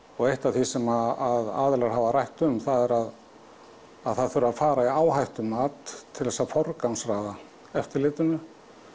eitt af því sem að aðilar hafa rætt um það er að það þurfi að fara í áhættumat til þess að forgangsraða eftirlitinu